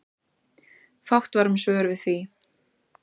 Fátt var um svör við því.